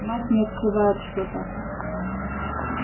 мать не открывает что-то